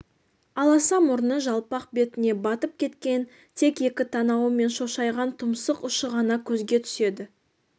аласа мұрны жалпақ бетіне батып кеткен тек екі танауы мен шошайған тұмсық ұшы ғана көзге түседі